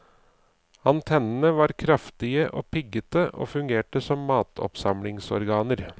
Antennene var kraftige og piggete og fungerte som matoppsamlingsorganer.